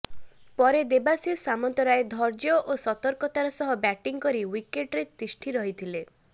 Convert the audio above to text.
ପରେ ଦେବାଶିଷ ସାମନ୍ତରାୟ ଧୈର୍ଯ୍ୟ ଓ ସତର୍କତାର ସହ ବ୍ୟାଟିଂ କରି ଓ୍ବିକେଟ୍ରେ ତିଷ୍ଠି ରହିଥିଲେ